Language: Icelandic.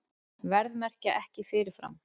Verðmerkja ekki fyrirfram